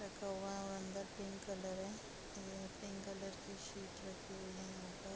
रखा हुआ है और अंदर पिंक कलर है ये पिंक कलर कि शीट रखी हुई है यहाँ पर।